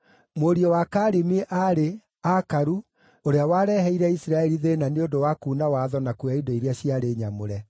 Mũriũ wa Karimi aarĩ: Akaru, ũrĩa wareheire Isiraeli thĩĩna nĩ ũndũ wa kuuna watho na kuoya indo iria ciarĩ nyamũre.